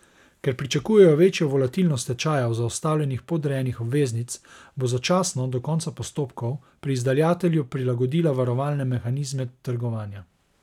Ker pričakuje večjo volatilnost tečajev zaustavljenih podrejenih obveznic, bo začasno, do konca postopkov, pri izdajatelju prilagodila varovalne mehanizme trgovanja.